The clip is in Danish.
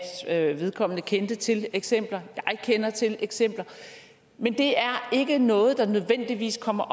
at vedkommende kendte til eksempler jeg kender til eksempler men det er ikke noget der nødvendigvis kommer